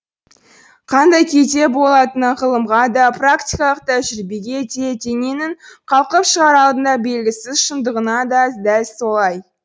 қандай күйде болатыны ғылымға да практикалық тәжірибеге де дененің қалқып шығар алдында белгісіз шындығына да дәл солай